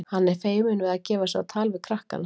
Hann er feiminn við að gefa sig á tal við krakkana.